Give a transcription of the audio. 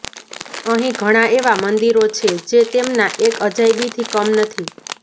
અહીં ઘણા એવા મંદિરો છે જે તેમના એક અજાયબીથી કમ નથી